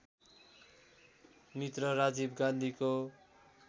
मित्र राजीव गान्धीको